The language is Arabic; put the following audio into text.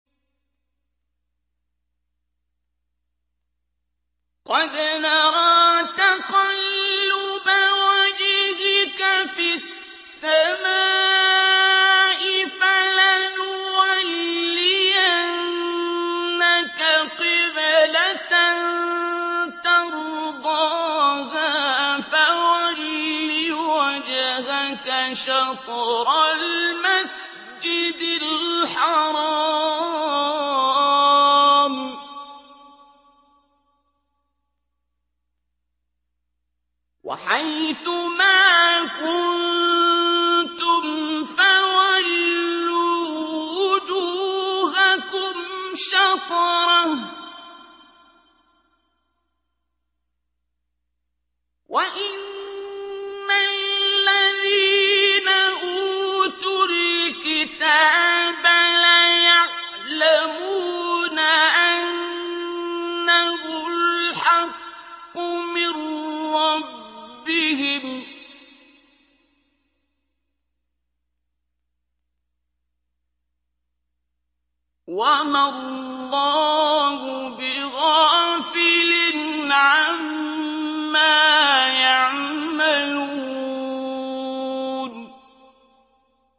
قَدْ نَرَىٰ تَقَلُّبَ وَجْهِكَ فِي السَّمَاءِ ۖ فَلَنُوَلِّيَنَّكَ قِبْلَةً تَرْضَاهَا ۚ فَوَلِّ وَجْهَكَ شَطْرَ الْمَسْجِدِ الْحَرَامِ ۚ وَحَيْثُ مَا كُنتُمْ فَوَلُّوا وُجُوهَكُمْ شَطْرَهُ ۗ وَإِنَّ الَّذِينَ أُوتُوا الْكِتَابَ لَيَعْلَمُونَ أَنَّهُ الْحَقُّ مِن رَّبِّهِمْ ۗ وَمَا اللَّهُ بِغَافِلٍ عَمَّا يَعْمَلُونَ